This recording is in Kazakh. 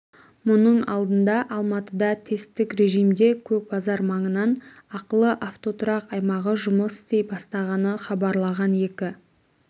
мұның алдында алматыда тесттік режимде көк базар маңынан ақылы автотұрақ аймағы жұмыс істей бастағаны хабарланған екі